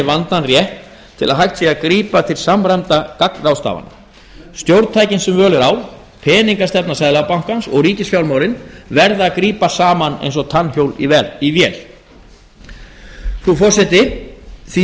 vandann rétt til að hægt sé að grípa til samræmdra gagnráðstafana stjórntækin sem völ er á peningastefna seðlabankans og ríkisfjármálin verða að grípa saman eins og tannhjól í vél frú forseti því